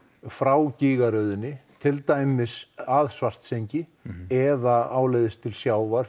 frá gígaröðinni til dæmis að Svartsengi eða áleiðis til sjávar